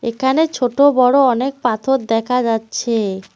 এখানে ছোট বড়ো অনেক পাথর দেখা যাচ্ছে।